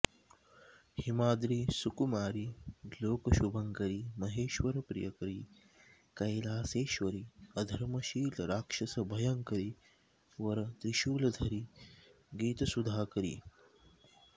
हिमाद्रि सुकुमारि लोकशुभङ्करि महेश्वर प्रियकरि कैलासेश्वरि अधर्मशील राक्षस भयङ्करि वर त्रिशूलधरि गीतसुधाकरि